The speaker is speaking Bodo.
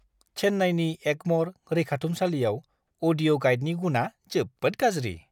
चेन्नाईनि एगम'र रैखाथुमसालियाव अडिअ' गाइदनि गुनआ जोबोद गाज्रि!